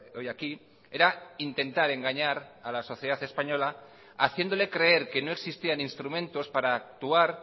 hoy aquí era intentar engañar a la sociedad española haciéndole creer que no existían instrumentos para actuar